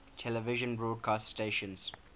television broadcast stations